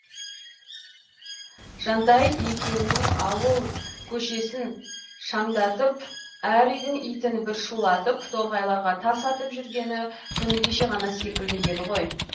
жантай екеуінің ауыл көшесін шаңдатып әр үйдің итін бір шулатып торғайларға тас атып жүргені күні кеше ғана секілді еді ғой